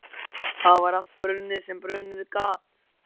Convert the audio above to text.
Það var allt brunnið sem brunnið gat.